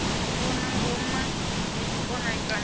vhona ngoma ya tshikona kana